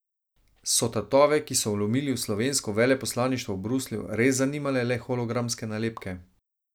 So tatove, ki so vlomili v slovensko veleposlaništvo v Bruslju, res zanimale le hologramske nalepke?